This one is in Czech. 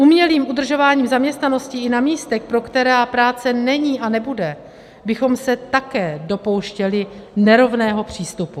Umělým udržováním zaměstnanosti i na místech, pro která práce není a nebude, bychom se také dopouštěli nerovného přístupu.